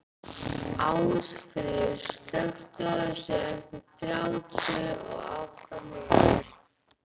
Ásfríður, slökktu á þessu eftir þrjátíu og átta mínútur.